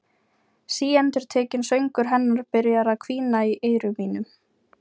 Síendurtekinn söngur hennar byrjar að hvína í eyrum mínum.